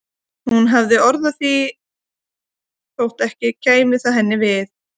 Hún hafði orð á því þótt ekki kæmi það henni við.